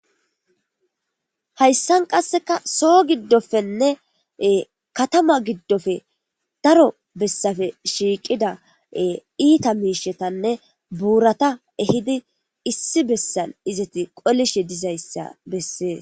hayssan qasseka soo giddofenne katama giddofe daro bessafe shiiqida iita miishetanne buurata ehidi issi bessan izati qolishe dizayssa bessee